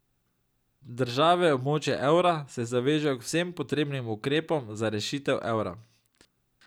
Države območja evra se zavežejo k vsem potrebnim ukrepom za rešitev evra.